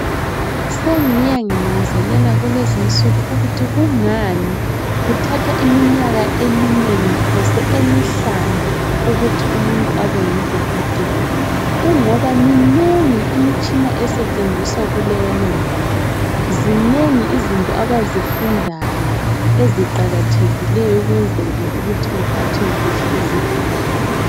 Sengiye nginanzelela kulezinsuku ukuthi kungani kuthatha iminyaka eminengi phose emihlanu ukuthi umuntu abe ngudokotela kungoba minengi imitshina esetshenziswa kuleyana ndawo zinengi izinto abazifundayo eziqakathekileyo ukwenzela ukuthi bephathe kuhle izigulane